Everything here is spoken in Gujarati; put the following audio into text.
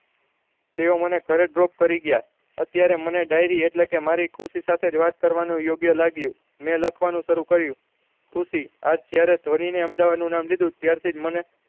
તેવો મને drop કરી ગયા અત્યારે મારે diary એટલે કે મારી ખુશી સાથે જ વાત કરવાનું યોગ્ય લાગ્યું મેં લાખનું શરુ કર્યું ખુશી આજ જયારે અમદાવાદ નું નામ લીધું ત્યાર થી મને